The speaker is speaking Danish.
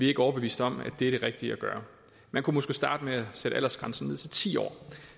ikke overbevist om at det er det rigtige at gøre man kunne måske starte med at sætte aldersgrænsen ned til ti år